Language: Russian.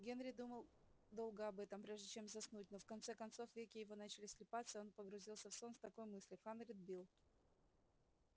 генри думал долго об этом прежде чем заснуть но в конце концов веки его начали слипаться и он погрузился в сон с такой мыслью хандрит билл